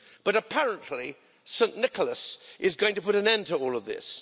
But, apparently, St Nicholas is going to put an end to all of this.